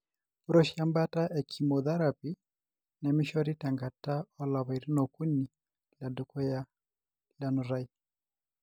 Ore oshi embaata e chemotherapy nemishori tenkata olapaitin okuni ledukuya lenutai.